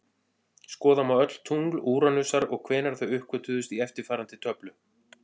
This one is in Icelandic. Skoða má öll tungl Úranusar og hvenær þau uppgötvuðust í eftirfarandi töflu: